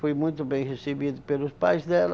Fui muito bem recebido pelos pais dela.